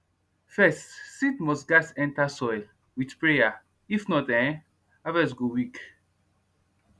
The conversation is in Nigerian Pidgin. first seed must gats enter soil with prayer if not ehnn harvest go weak